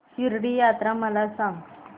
शिर्डी यात्रा मला सांग